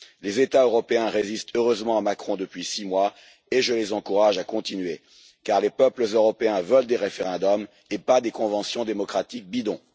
Les États européens résistent heureusement à Macron depuis six mois et je les encourage à continuer, car les peuples européens veulent des référendums, et pas des conventions démocratiques bidon.